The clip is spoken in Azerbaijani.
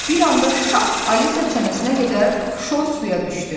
Bir anda şap Alisa çənəsinə qədər şor suya düşdü.